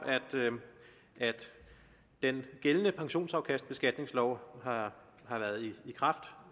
at den gældende pensionsafkastbeskatningslov har